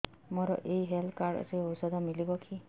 ମୋର ଏଇ health card ରେ ଔଷଧ ମିଳିବ କି